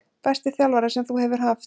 Besti þjálfari sem þú hefur haft?